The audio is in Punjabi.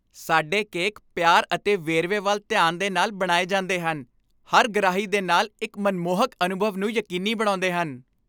ਸਾਡੇ ਕੇਕ ਪਿਆਰ ਅਤੇ ਵੇਰਵੇ ਵੱਲ ਧਿਆਨ ਦੇ ਨਾਲ ਬਣਾਏ ਜਾਂਦੇ ਹਨ, ਹਰ ਗਰਾਹੀ ਦੇ ਨਾਲ ਇੱਕ ਮਨਮੋਹਕ ਅਨੁਭਵ ਨੂੰ ਯਕੀਨੀ ਬਣਾਉਂਦੇ ਹਨ।